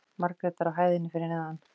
Margrétar á hæðinni fyrir neðan.